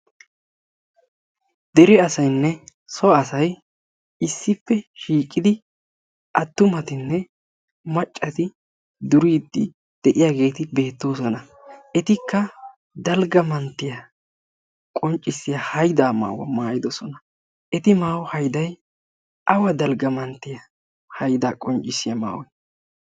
Dere asaynne so asay issippe shiiqid attumatinne maccati duride de'iyaageeti beettoosona. etikka dalgga manttiya qonccissiya haydda maayuwaa maayyidoosona. eti maayido maayoy awa dalgga manttissiya haydda maayoy?